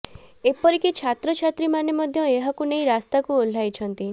ଏପରି କି ଛାତ୍ରଛାତ୍ରୀମାନେ ମଧ୍ୟ ଏହାକୁ ନେଇ ରାସ୍ତାକୁ ଓହ୍ଲାଇଛନ୍ତି